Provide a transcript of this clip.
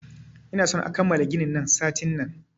Ina son a kammala ginin nan satin nan!